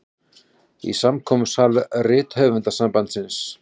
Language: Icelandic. Í samkomusal Rithöfundasambandsins.